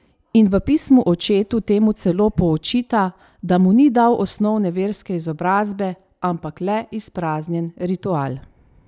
In v Pismu očetu temu celo poočita, da mu ni dal osnovne verske izobrazbe, ampak le izpraznjen ritual.